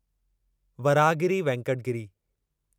Varahagiri Venkata Giri